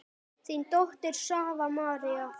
Þín dóttir, Svava María.